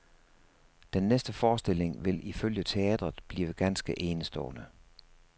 Den næste forestilling vil ifølge teatret blive ganske enestående.